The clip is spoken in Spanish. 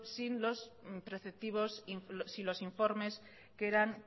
sin los informes que eran